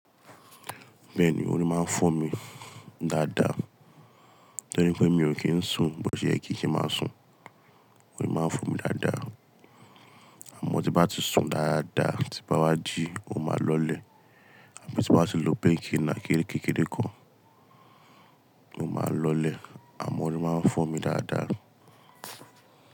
Bẹ́ẹ̀ ni, óri máa ń fọ́ mi dáadáa. Torí pé mi ò kí ń sùn, bó se yẹ kí se máa sùn, óri máa ń fọ́ mi dáadáa. Àmọ́ tí bá ti sùn dáadáa, tí bá wá jí, ó máa lọlẹ̀. Bí tí bá ti lo pain kì ná kérekérekè kan, ó máa lọlẹ̀. Àmọ́ óri máa ń fọ́ mi dáadáa.